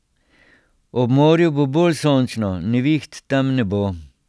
Ob morju bo bolj sončno, neviht tam ne bo.